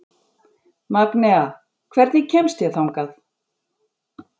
Magnea, hvernig kemst ég þangað?